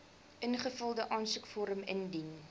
ingevulde aansoekvorm indien